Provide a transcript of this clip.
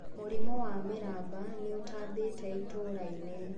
Mũrimũ wa mĩramba nĩũtambĩte itũrainĩ.